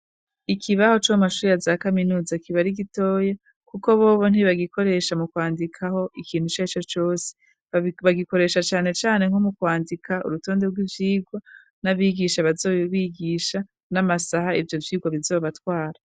Ikibaho co mu mashuri ya za kaminuza kiba ari gitoya, kuko bobo ntibagikoresha mu kwandikako ikintu icarico cose, bagikoresha canecane nko mu kwandika urutonde rw'ivyigwa n'abigisha bazobigisha , n'amasaha ivyo vyigwa bizobatwara.